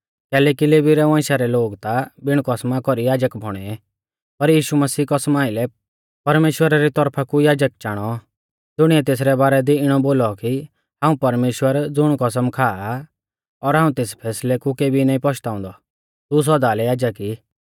कैलैकि लेवी रै वंशा रै लोग ता बिणा कसमा कौरी याजक बौणै पर यीशु मसीह कसमा आइलै परमेश्‍वरा री तौरफा कु याजक चाणौ ज़ुणीऐ तेसरै बारै दी इणौ बोलौ कि हाऊं परमेश्‍वर ज़ुण कसम खाआ आ और हाऊं तेस फैसलै कु केबी नाईं पश्ताउंदौ तू सौदा लै याजक ई